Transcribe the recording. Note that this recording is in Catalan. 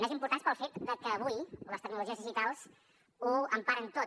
més importants pel fet que avui les tecnologies digitals ho emparen tot